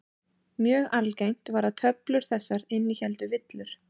Mjög algengt var að töflur þessar innihéldu villur.